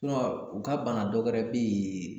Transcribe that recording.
u ka bana dɔwɛrɛ bɛ yen